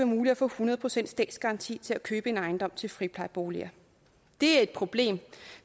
muligt at få hundrede procent statsgaranti til at købe en ejendom til friplejeboliger det er et problem